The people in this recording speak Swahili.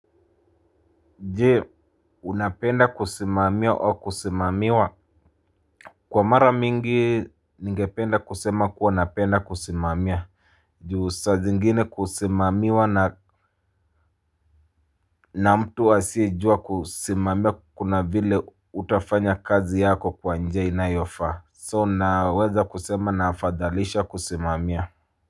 Jee unapenda kusimamiwa au kusimamiwa. Kwa mara mingi ningependa kusema kuwa napenda kusimamia. Juu saa zingine kusimamiwa na na mtu asiyejua kusimamiaa kuna vile hutafanya kazi yako kwa njia inayofaa So naweza kusema naafadhalisha kusimamiwa.